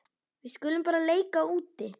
Við skulum bara leika úti.